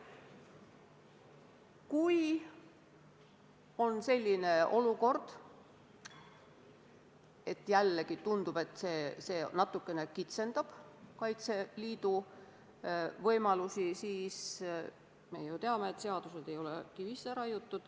Kui tekib selline olukord, et tundub, et see asjaolu natukene kitsendab Kaitseliidu võimalusi, siis me ju teame, et seadused ei ole kivisse raiutud.